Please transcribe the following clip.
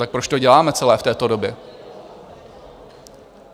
Tak proč to děláme celé v této době?